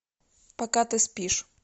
пока ты спишь